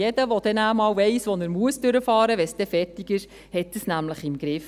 Jeder, der einmal weiss, wo er durchfahren muss – wenn es dann fertig ist –, hat dies nämlich im Griff.